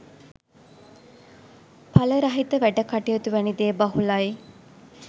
පල රහිත වැඩ කටයුතු වැනි දේ බහුලයි